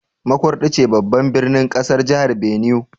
Makurdi ce babban birnin kasar Jihar Benue.